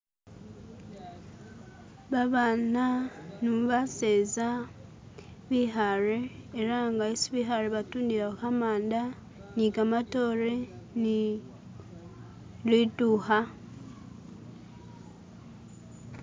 Babana nu baseza bikhare elanga esi bikhare batundilawo kamanda nikamatore ni litukha